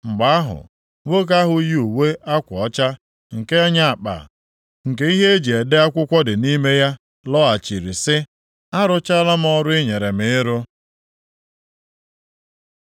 Mgbe ahụ, nwoke ahụ yi uwe akwa ọcha, nke nya akpa nke ihe e ji ede akwụkwọ dị nʼime ya, lọghachiri sị, “Arụchaala m ọrụ i nyere m ịrụ.”